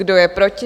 Kdo je proti?